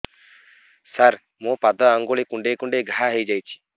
ସାର ମୋ ପାଦ ଆଙ୍ଗୁଳି କୁଣ୍ଡେଇ କୁଣ୍ଡେଇ ଘା ହେଇଯାଇଛି